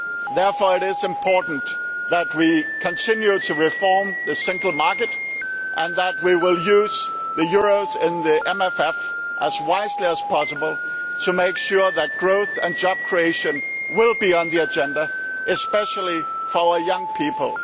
Therefore it is important that we continue to reform the single market and that we use the euros in the MFF as wisely as possible to make sure that growth and job creation will be on the agenda, especially for young people.